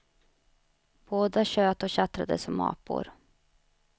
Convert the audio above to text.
Båda tjöt och tjattrade som apor.